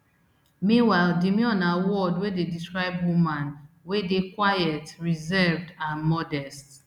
meanwhile demure na word wey dey describe woman wey dey quiet reserved and modest